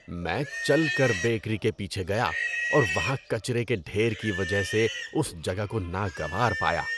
میں چل کر بیکری کے پیچھے گیا اور وہاں کچرے کے ڈھیر کی وجہ سے اس جگہ کو ناگوار پایا۔